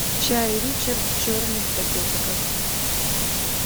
чай ричард черный в пакетиках